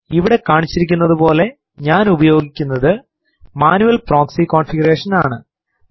ഇവിടെ കാണിച്ചിരിക്കുന്നതുപോലെ ഞാൻ ഉപയോഗിക്കുന്നത് മാന്യുയൽ പ്രോക്സി കോൺഫിഗറേഷൻ ആണ്